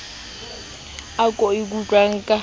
ao ke a utlwang ka